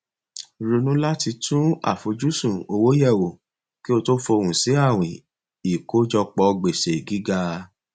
ronú láti tún àfojúsùn owó yẹwò kí o tó fohùn sí àwìn ìkójọpọ gbèsè gíga